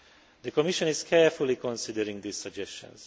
The Commission is carefully considering these suggestions.